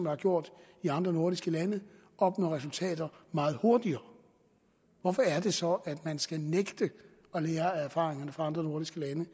har gjort i andre nordiske lande opnår resultater meget hurtigere hvorfor er det så at man skal nægte at lære af erfaringerne fra andre nordiske lande